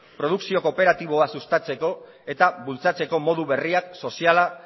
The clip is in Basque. produkzio kooperatiboa sustatzeko eta bultzatzeko modu berriak soziala